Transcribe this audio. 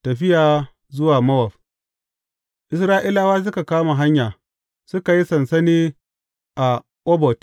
Tafiya zuwa Mowab Isra’ilawa suka kama hanya, suka yi sansani a Obot.